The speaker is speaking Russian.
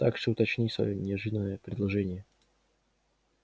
так что уточни своё неожиданное предложение